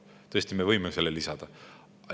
Tõesti, me võime selle lisada.